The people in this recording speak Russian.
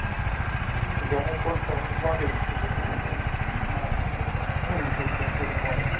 да мы просто в банке сидим это так ну ну вышел к нам физбанк